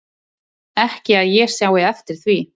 Ekki að ég sjái eftir því